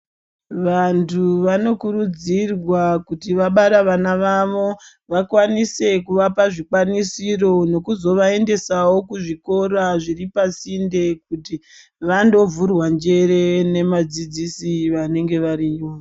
Vantu vanokurudzirwa kuti vabara vana vavo, vakwanise kuvapa zvikwanisiro nokuzovaendesawo kuzvikora zviri pasinde, kuti vandovhurwa njere nemadzidzisi vanenge variyo.